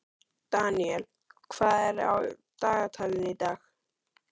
Daniel, hvað er á dagatalinu í dag?